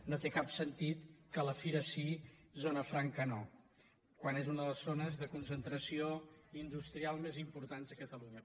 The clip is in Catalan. no té cap sentit que la fira sí zona franca no quan és una de les zones de concentració industrial més importants de catalunya